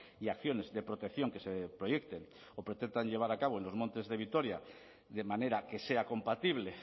y acciones de protección que se proyecten o pretendan llevar a cabo en los montes de vitoria de manera que sea compatible